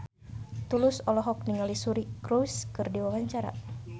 Tulus olohok ningali Suri Cruise keur diwawancara